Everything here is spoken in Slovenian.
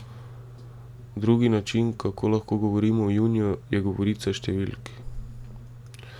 Drugi način, kako lahko govorimo o juniju, je govorica številk.